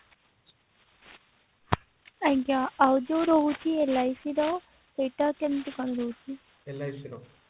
ଆଜ୍ଞା ଆଉ ଯୋଉ ରହୁଛି LIC ର ସେଟ କେମତି କଣ ରହୁଛି